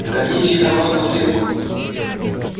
гоните их обратно в клетку